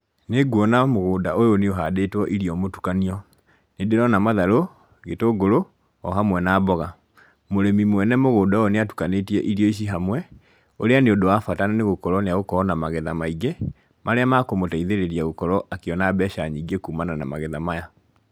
Nĩnguona mũgũnda ũyũ nĩ ũhandĩtwo irio mũtukanio, nĩndĩrona matharũ, gĩtũngũrũ, o hamwe na mboga, mũrĩmi mwene mũgũnda ũyũ nĩ atukanĩtie irio ici hamwe, ũrĩa nĩ ũndũ wa bata nĩ gũkorwo nĩ agũkorwo na magetha maingĩ, marĩa makũmũteithĩrĩria gũkorwo akĩona mbeca nyingĩ kumana na magetha maya